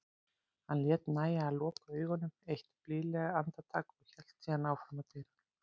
Hann lét nægja að loka augunum eitt blíðlegt andartak og hélt síðan áfram að dyrunum.